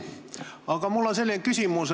Aga mul on selline küsimus.